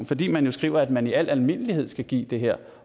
fordi man jo skriver at man i al almindelighed skal give det her